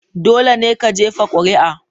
Dole ne ka jefa kuri'a.